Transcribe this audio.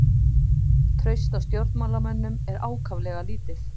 Traust á stjórnmálamönnum er ákaflega lítið